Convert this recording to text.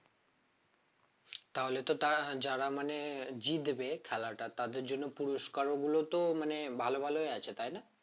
তাহলে তো তারা যারা মানে জিতবে খেলাটা তাদের জন্য পুরস্কার গুলো তো মানে ভালো ভালোই আছে তাই না?